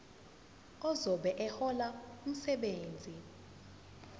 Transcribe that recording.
ozobe ehlola umsebenzi